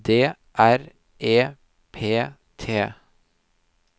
D R E P T